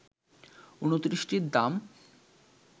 ২৯টির দাম